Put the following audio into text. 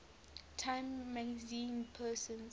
time magazine persons